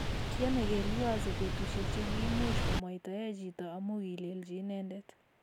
Kiamekei Liwazo betusiek che kiimuch komwaitae chito amu kilelchi inendet